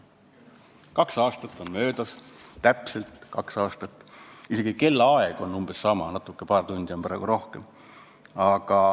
Kaks aastat on möödas, täpselt kaks aastat, isegi kellaaeg on umbes sama, paar tundi on praegu hilisem aeg.